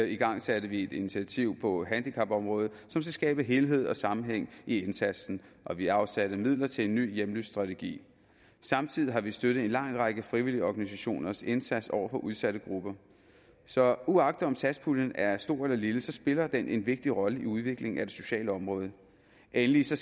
igangsat vi et initiativ på handicapområdet som skal skabe helhed og sammenhæng i indsatsen og vi har afsat midler til en ny hjemløsestrategi samtidig har vi støttet en lang række frivillige organisationers indsats over for udsatte grupper så uagtet om satspuljen er stor eller lille spiller den en vigtig rolle i udviklingen af det sociale område endelig skal